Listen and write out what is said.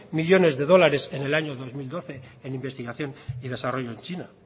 millónes de dólares en el año dos mil doce en investigación y desarrollo en china